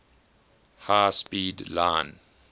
high speed line